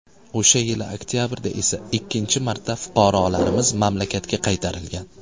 O‘sha yili oktabrda esa ikkinchi marta fuqarolarimiz mamlakatga qaytarilgan.